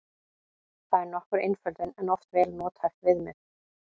Það er nokkur einföldun en oft vel nothæft viðmið.